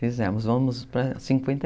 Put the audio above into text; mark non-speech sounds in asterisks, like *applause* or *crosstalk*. Fizemos, *unintelligible*